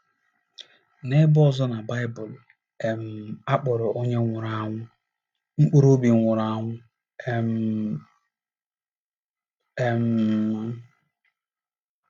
N’ebe ọzọ na Baịbụl, um a kpọrọ onye nwụrụ anwụ ‘ mkpụrụ obi nwụrụ anwụ um. ’ um